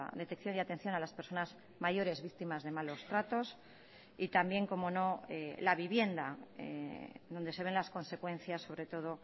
detección y atención a las personas mayores víctimas de malos tratos y también cómo no la vivienda donde se ven las consecuencias sobre todo